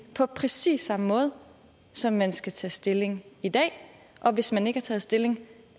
på præcis samme måde som man skal tage stilling i dag og hvis man ikke har taget stilling